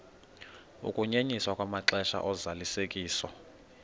ukunyenyiswa kwamaxesha ozalisekiso